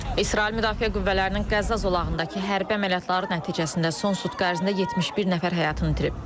İsrail Müdafiə Qüvvələrinin Qəzza zolağındakı hərbi əməliyyatları nəticəsində son sutka ərzində 71 nəfər həyatını itirib.